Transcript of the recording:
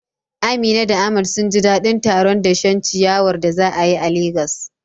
Amina da Ahmad sun ji dadin taron dashen ciyawar da za a yi a Legas.